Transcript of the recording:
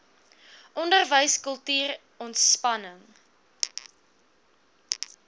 onderwys kultuur ontspanning